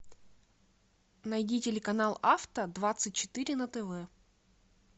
найди телеканал авто двадцать четыре на тв